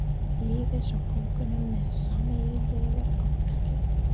Lyftu svo pokanum með sameiginlegu átaki.